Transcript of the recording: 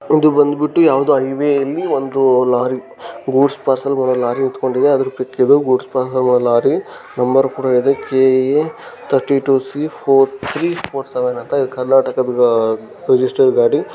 ಇದು ಬಂದ್ ಬಿಟ್ಟು ಯಾವದೋ ಹೈವೆ ಅಲ್ಲಿ ಒಂದು ಲಾರಿ ಇದೆ . ಗೂಡ್ಸ್ ಪಾರ್ಸೆಲ್ ಹೋಗೋ ಲಾರಿ ನಿಂತಕೊಂಡಿದೆ ಅದರ ಪಿಕ್ ಇದು ಗೂಡ್ಸ್ ಪರ್ಸಲ್ ಹೋಗೋ ಲಾರಿ ನಂಬರ್ ಕೂಡ ಇದೆ. K A thirty two C four three four seven ಅಂತ ಇದೆ. ಕರ್ನಾಟಕದ್ದು ರಿಜಿಸ್ಟರ್ ಗಾಡಿ.